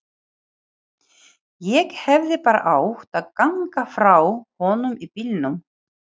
Ég hefði bara átt að ganga frá honum í bílnum.